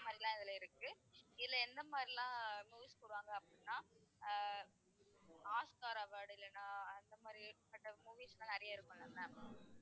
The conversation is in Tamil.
அந்த மாதிரி எல்லாம் இதுல இருக்கு. இதுல எந்த மாதிரி எல்லாம் movies போடுவாங்க அப்படின்னா அஹ் ஆஸ்க்கார் award இல்லைன்னா அந்த மாதிரி பட்ட movies எல்லாம் நிறைய இருக்குமில்ல ma'am